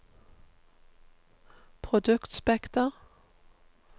produktspekter